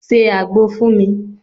1. Se àgbò fún mi.